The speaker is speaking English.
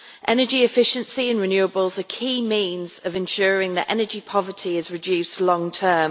Energy efficiency and renewables are a key means of ensuring that energy poverty is reduced long term.